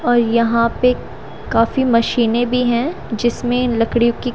और यहां पे काफी मशीनें भी हैं जिसमें लकड़ियों की--